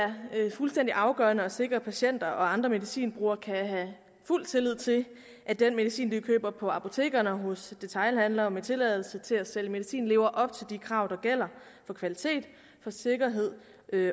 det er fuldstændig afgørende at sikre at patienter og andre medicinbrugere kan have fuld tillid til at den medicin de køber på apotekerne og hos detailhandlere med tilladelse til at sælge medicin lever op til de krav der gælder for kvalitet for sikkerhed